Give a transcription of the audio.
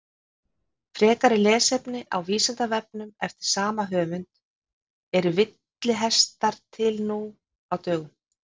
Frekara lesefni á Vísindavefnum eftir sama höfund: Eru villihestar til nú á dögum?